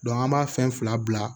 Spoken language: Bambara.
an b'a fɛn fila bila